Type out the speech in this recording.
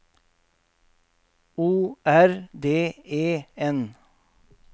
O R D E N